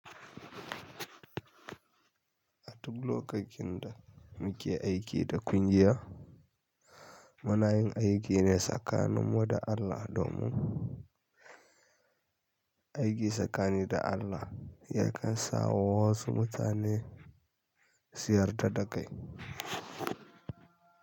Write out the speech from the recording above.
A duk lokacin da muke aiki da kungiya, muna yin aiki ne tsakaninmu da Allah domin aiki tsakanin da Allah yakan sa wasu mutane suyar da dakai.